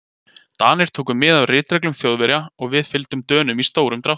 Danir tóku mið af ritreglum Þjóðverja og við fylgdum Dönum í stórum dráttum.